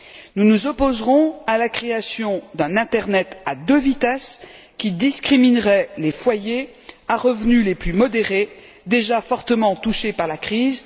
Nous nous opposerons à la création d'un internet à deux vitesses qui discriminerait les foyers à revenus les plus modérés, déjà fortement touchés par la crise.